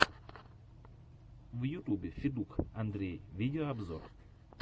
в ютубе федук андрей видеообзор